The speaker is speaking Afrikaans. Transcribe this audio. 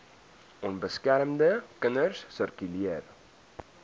onbeskermde kinders sirkuleer